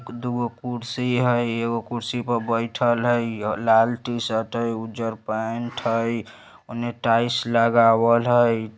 दुगो कुर्सी हई एगो खुर्शी पर बइठल हई | लाल टी-शर्ट हई उजर पेंट हई | ओने टाइल्स लगावल हई ।